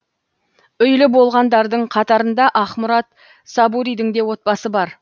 үйлі болғандардың қатарында ақмұрат сабуридің де отбасы бар